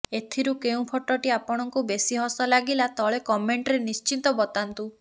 ଏଥିରୁ କେଉଁ ଫଟୋଟି ଆପଣଙ୍କୁ ବେଶି ହସ ଲାଗିଲା ତଳେ କମେଣ୍ଟରେ ନିଶ୍ଚିତ ବତାନ୍ତୁ